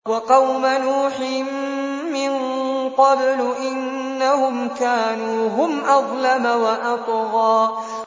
وَقَوْمَ نُوحٍ مِّن قَبْلُ ۖ إِنَّهُمْ كَانُوا هُمْ أَظْلَمَ وَأَطْغَىٰ